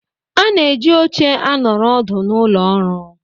A na-eji oche anọrọ ọdụ n'ụlọ ọrụ